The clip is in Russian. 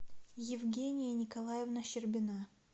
евгения николаевна щербина